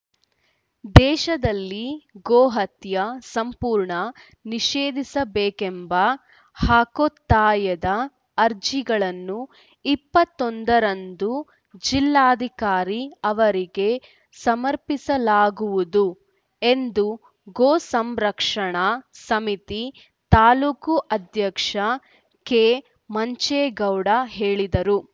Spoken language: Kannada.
ದೇಶದಲ್ಲಿ ಗೋಹತ್ಯೆ ಸಂಪೂರ್ಣ ನಿಷೇಧಿಸಬೇಕೆಂಬ ಹಕ್ಕೊತ್ತಾಯದ ಅರ್ಜಿಗಳನ್ನು ಇಪ್ಪತ್ತೊಂದರಂದು ಜಿಲ್ಲಾಧಿಕಾರಿ ಅವರಿಗೆ ಸಮರ್ಪಸಲಾಗುವುದು ಎಂದು ಗೋಸಂರಕ್ಷಣಾ ಸಮಿತಿ ತಾಲೂಕು ಅಧ್ಯಕ್ಷ ಕೆಮಂಚೇಗೌಡ ಹೇಳಿದರು